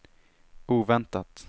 oväntat